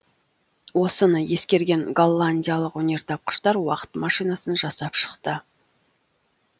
осыны ескерген голландиялық өнертапқыштар уақыт машинасын жасап шықты